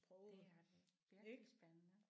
Det er det virkelig spændende